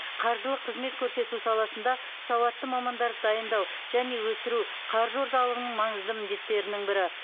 қаржылық қызмет көрсету саласында сауатты мамандарды дайындау және өсіру қаржы орталығының маңызды міндеттерінің бірі